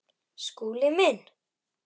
Skúli minn!